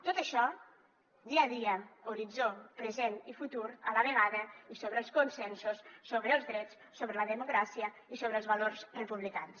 tot això dia a dia horitzó present i futur a la vegada i sobre els consensos sobre els drets sobre la democràcia i sobre els valors republicans